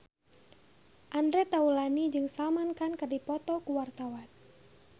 Andre Taulany jeung Salman Khan keur dipoto ku wartawan